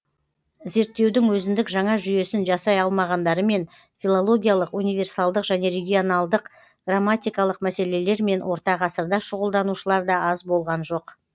зерттеудің өзіндік жаңа жүйесін жасай алмағандарымен филологиялық универсалдық және регионалдық грамматикалық мәселелермен орта ғасырда шұғылданушылар да аз болған жоқ